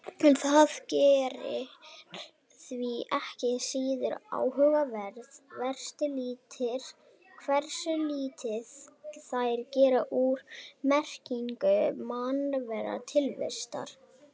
En það gerir þær ekki síður áhugaverðar hversu lítið þær gera úr merkingu mannlegrar tilvistar.